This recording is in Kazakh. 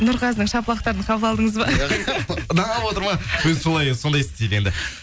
нұрғазының шапалақтарын қабыл алдыңыз ба тыңдап отыр ма өзі солай сондай істейді енді